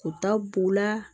U ta b'u la